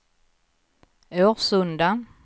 Årsunda